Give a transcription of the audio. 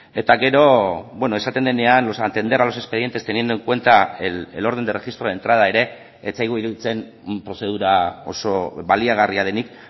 eta gero esaten denean atender a los expedientes teniendo en cuenta el orden de registro de entrada ere ez zaigu iruditzen prozedura oso baliagarria denik